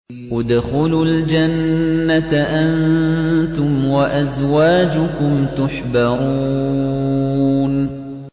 ادْخُلُوا الْجَنَّةَ أَنتُمْ وَأَزْوَاجُكُمْ تُحْبَرُونَ